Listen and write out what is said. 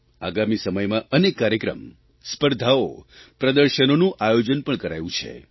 આગામી સમયમાં અનેક કાર્યક્રમ સ્પર્ધાઓ પ્રદર્શનોનું આયોજન પણ કરાયું છે